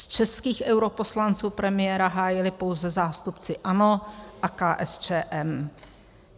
Z českých europoslanců premiéra hájili pouze zástupci ANO a KSČM.